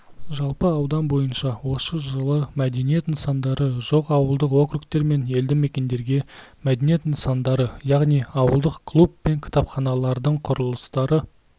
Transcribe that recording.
жалпы аудан бойынша осы жылы мәдениет нысандары жоқ ауылдық округтер мен елді мекендерге мәдениет нысандары яғни ауылдық клуб пен кітапханалардың құрылыстары